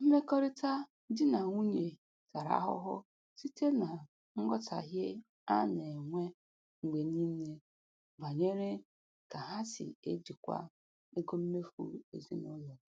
Mmekọrịta di na nwunye tara ahụhụ site na nghọtahie a na-enwe mgbe niile banyere ka ha si ejikwa ego mmefu ezinụlọ.